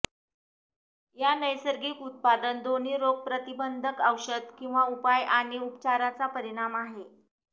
या नैसर्गिक उत्पादन दोन्ही रोगप्रतिबंधक औषध किंवा उपाय आणि उपचाराचा परिणाम आहे